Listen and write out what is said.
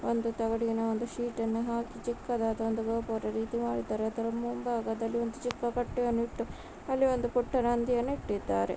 ಒಂದು ತಗಡಿನ ಒಂದು ಶೀಟ್‌ ನ್ನು ಹಾಕಿ ಚಿಕ್ಕದಾದ ಒಂದು ಗೋಪುರ ರೀತಿ ಮಾಡಿದ್ದಾರೆ ಅದರ ಮುಂಭಾಗದಲ್ಲಿ ಒಂದು ಚಿಕ್ಕ ಬಟ್ಟೆಯನ್ನು ಇಟ್ಟು ಅಲ್ಲಿ ಒಂದು ಪುಟ್ಟ ನಂದಿಯನ್ನು ಇಟ್ಟಿದ್ದಾರೆ.